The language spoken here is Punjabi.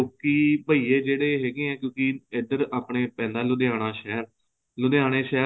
ਲੋਕੀ ਬਹੀਏ ਜਿਹੜੇ ਹੈਗੇ ਨੇ ਕਿਉਂਕਿ ਏਧਰ ਆਪਨੇ ਪੈਂਦਾ ਹੈ ਲੁਧਿਆਣਾ ਸ਼ਹਿਰ ਲੁਧਿਆਣੇ ਸ਼ਹਿਰ